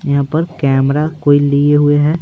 यहां पर कैमरा कोई लिए हुए है।